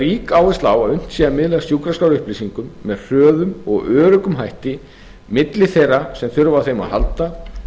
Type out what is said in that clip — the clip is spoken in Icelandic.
rík áhersla á að unnt sé að miðla sjúkraskrárupplýsingum með hörðum og öruggum hætti milli þeirra sem þurfa á þeim að halda